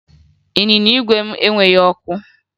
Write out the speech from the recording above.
Ịnyịnya igwe m enweghi ọkụ